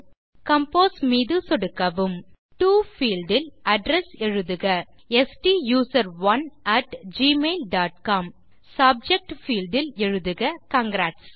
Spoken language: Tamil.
கம்போஸ் மீது சொடுக்கவும் டோ பீல்ட் இல் அட்ரெஸ் எழுதுக ஸ்டூசரோன் at Gmail dot com subject field இல் எழுதுக காங்கிராட்ஸ்